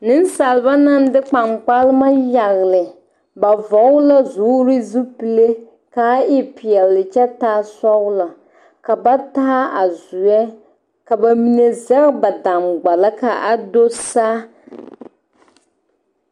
Nensalba naŋ de kpankpalema yagle yagle ba vɔgle la zoore zupile k,a e peɛle kyɛ taa sɔglɔ ka ba taa a zoɛ ka ba mine zɛge ba dangbals k,a do saa.